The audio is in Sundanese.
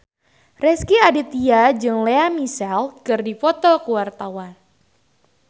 Rezky Aditya jeung Lea Michele keur dipoto ku wartawan